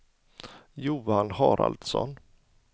Johan Haraldsson